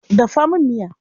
Dafa min miya.